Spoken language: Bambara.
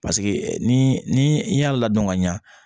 Paseke ni ni i y'a ladɔn ka ɲa